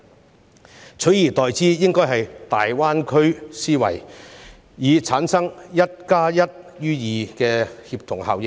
政府應採用大灣區思維，以產生"一加一大於二"的協同效應。